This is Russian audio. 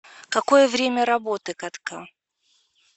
какое время работы катка